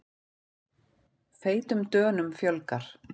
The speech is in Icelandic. Feitum Dönum fjölgar